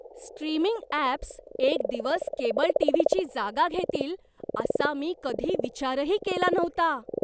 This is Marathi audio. स्ट्रीमिंग अॅप्स एक दिवस केबल टीव्हीची जागा घेतील असा मी कधी विचारही केला नव्हता.